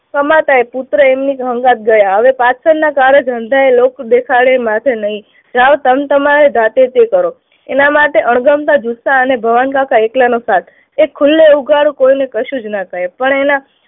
કમાતા હોય પુત્ર એમની સંગાથે ગયા. હવે પાછળની કાળે ધંધે લોક દેખાડે માથે નહી જાઓ તમતમારે જાતે જે કરો એના માટે અણગમતા ગુસ્સા અને ભવનકાકા એકલાનો સાથ, એ ખુલ્લે ઉઘાડે કોઈને કશું ના કહે પણ એમના